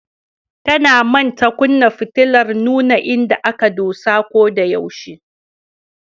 Tana manta kunna fitilar nuna inda aka dosa ko da yaushe.